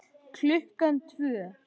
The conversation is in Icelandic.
Klukkan tvö.